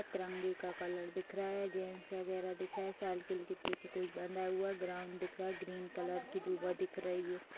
तिरंगे का रंग कलर दिख रहा है जेंट्स वगैरह दिख रहा है साइकिल के पीछे कुछ बंधा हुआ है ग्राउंड दिख रहा है ग्रीन कलर की दुभा दिख रही है।